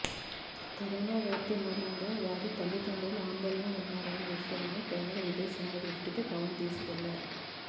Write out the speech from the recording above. corona వ్యాప్తి మూలంగా వారి తల్లిదండ్రులు ఆందోళనలో ఉన్నారనే విషయాన్ని కేంద్ర విదేశాంగ దృష్టికి పవన్ తీసుకెళ్లారు